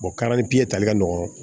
tali ka nɔgɔn